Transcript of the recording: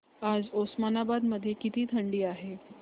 आज उस्मानाबाद मध्ये किती थंडी आहे